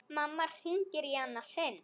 Mamma hringir í annað sinn.